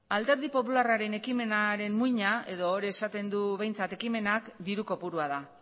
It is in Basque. alderdi popularraren ekimenaren muina edo hori esaten du behintzat ekimenak diru kopurua da